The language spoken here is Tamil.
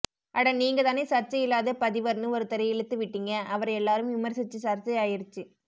அட நீங்கதானே சர்ச்சையில்லாத பதிவர்னு ஒருத்தரை இழுத்து விட்டீங்க அவர எல்லாரும் விமர்சிச்சு சர்ச்சை ஆயிருச்சு